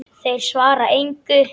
Þeir svara engu.